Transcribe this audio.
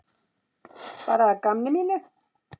Bara að gamni mínu.